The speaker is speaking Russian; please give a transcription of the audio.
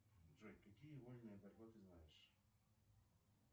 джой какие вольная борьба ты знаешь